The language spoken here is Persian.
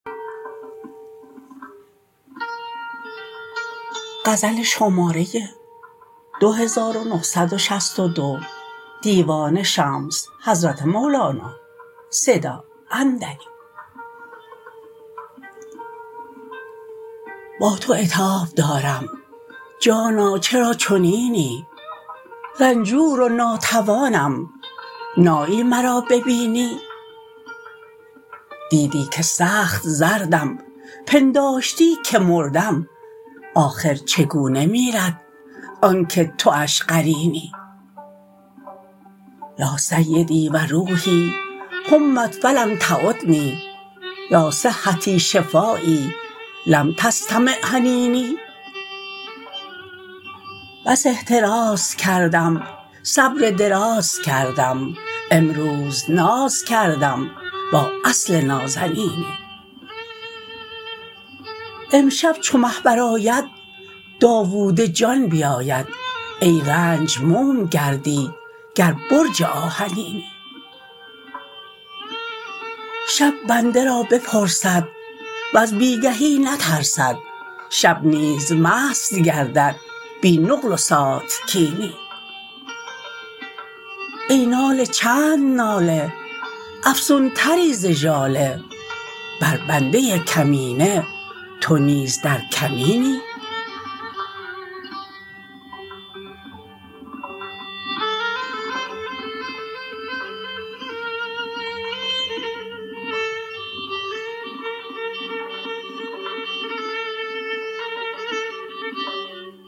با تو عتاب دارم جانا چرا چنینی رنجور و ناتوانم نایی مرا ببینی دیدی که سخت زردم پنداشتی که مردم آخر چگونه میرد آنک تواش قرینی یا سیدی و روحی حمت فلم تعدنی یا صحتی شفایی لم تستمع حنینی بس احتراز کردم صبر دراز کردم امروز ناز کردم با اصل نازنینی امشب چو مه برآید داوود جان بیاید ای رنج موم گردی گر برج آهنینی شب بنده را بپرسد وز بی گهی نترسد شب نیز مست گردد بی نقل و ساتکینی ای ناله چند ناله افزونتری ز ژاله بر بنده کمینه تو نیز در کمینی